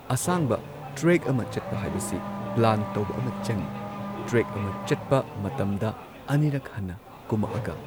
ꯑꯁꯥꯡꯕ ꯇ꯭ꯔꯦꯛ ꯑꯃ ꯆꯠꯄ ꯍꯥꯏꯕꯁꯤ ꯄ꯭ꯂꯥꯟ ꯇꯧꯕ ꯑꯃ ꯆꯪꯏ ꯇ꯭ꯔꯦꯛ ꯑꯃ ꯆꯠꯄ ꯃꯇꯝꯗ ꯑꯅꯤꯔꯛ ꯍꯟꯅ ꯀꯨꯝꯃꯛꯑꯒ